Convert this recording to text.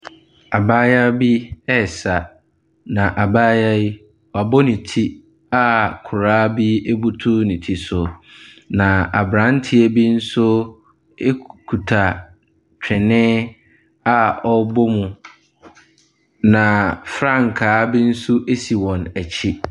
Abayewa bi resa, na abayewa yi, wabɔ ne ti a koraa bi butu ne ti so, na aberanteɛ bi nso kuta twene a ɔrebɔ mu, na frankaa bi nso si wɔn akyi.